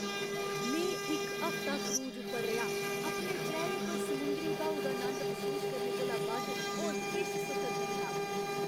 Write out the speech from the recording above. में इक हफ्ता क्रूज उप्पर रेहा । अपने चेह्‌रे पर समुंदरी ब्हाऊ दा नंद मसूस करने कोला बद्ध होर किश सुखद नेईं हा।